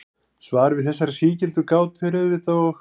Svarið við þessari sígildu gátu er auðvitað og.